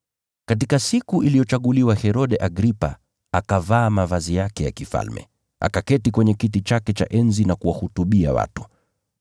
Katika siku iliyochaguliwa Herode Agripa akavaa mavazi yake ya kifalme, akaketi kwenye kiti chake cha enzi na kuwahutubia watu.